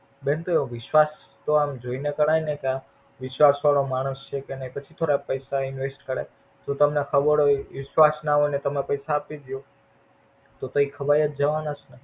બેન પણ વિશ્વાસ જોઈ ને કરાઈ ને ત્યાં વિશ્વ વાળો માણસ છે કે નાઈ પછી થોડા પૈસા Invest કરાઈ જો તમને ખબર હોઈ વિશ્વાસ ના હોઈ ને તમે પૈસા આપીદયો તો તો એ ખવાઈ જ જવાના છે ને.